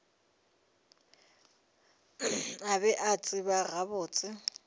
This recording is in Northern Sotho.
a be a tseba gabotse